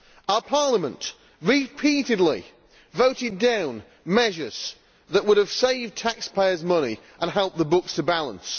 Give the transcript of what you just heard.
Our Parliament repeatedly voted down measures that would have saved taxpayersʼ money and helped the books to balance.